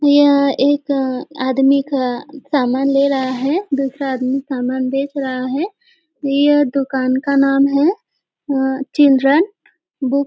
यह एक आदमी का समान ले रहा है दूसरा आदमी समान बेच रहा है यह दुकान का नाम है अम चिल्ड्रेन बुक --